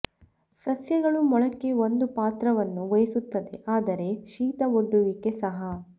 ಸಸ್ಯಗಳು ಮೊಳಕೆ ಒಂದು ಪಾತ್ರವನ್ನು ವಹಿಸುತ್ತದೆ ಆದರೆ ಶೀತ ಒಡ್ಡುವಿಕೆ ಸಹ